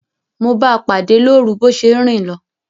Mo báa pàdé lórun bo se n rin lo